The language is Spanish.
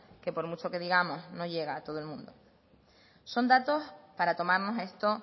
que por mucho que digamos no llega a todo el mundo son datos para tomarnos esto